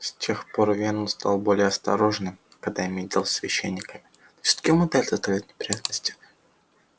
с тех пор венус стал более осторожным когда имеет дело со священниками но всё-таки умудряется доставлять неприятности